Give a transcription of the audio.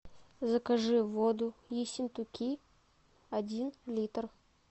закажи воду ессентуки один литр